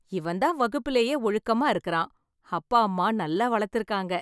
இவன்தான் வகுப்பிலேயே ஒழுக்கமா இருக்குறான்... அப்பா அம்மா நல்லா வளத்துருக்காங்க.